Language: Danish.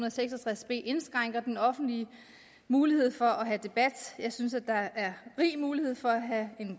og seks og tres b indskrænker den offentlige mulighed for at have debat jeg synes at der er rig mulighed for at have